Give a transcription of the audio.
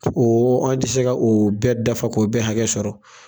O o an tɛ se ka o bɛɛ dafa k'o bɛɛ hakɛ sɔrɔ